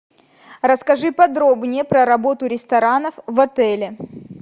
расскажи подробнее про работу ресторанов в отеле